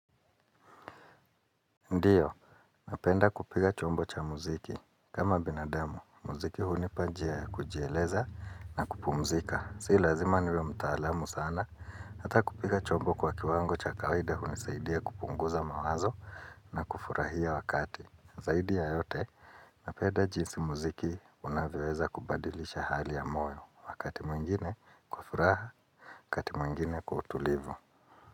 Ndiyo, napenda kupiga chombo cha muziki. Kama binadamu, muziki hunipa njia kujieleza na kupumzika. Si lazima niwe mtaalamu sana, hata kupiga chombo kwa kiwango cha kawaida hunisaidia kupunguza mawazo na kufurahia wakati. Zaidi ya yote, napenda jinsi muziki unavyoeza kubadilisha hali ya moyo, wakati mwingine kwa furaha, wakati mwingine kwa utulivu.